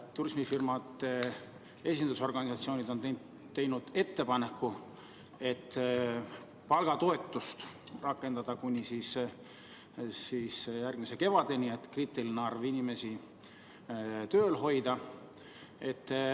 Turismifirmade esindusorganisatsioonid on teinud ettepaneku palgatoetust rakendada kuni järgmise kevadeni, et kriitiline arv inimesi tööl hoida.